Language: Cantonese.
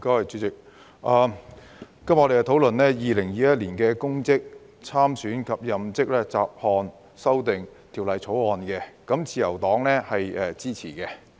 主席，今天我們討論《2021年公職條例草案》，自由黨表示支持。